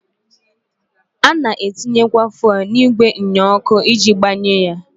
A na-etinyekwa fụelụ n'igwe nnyeọkụ iji gbanye ya.